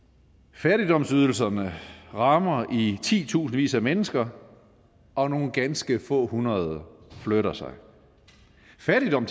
fattigdomsydelserne rammer i titusindvis af mennesker og nogle ganske få hundrede flytter sig fattigdom